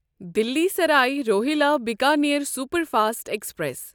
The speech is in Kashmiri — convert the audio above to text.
Delhi Sarai Rohilla Bikaner superfast express